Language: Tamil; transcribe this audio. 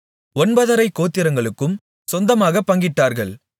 ஒன்பதரைக் கோத்திரங்களுக்கும் சொந்தமாகப் பங்கிட்டார்கள்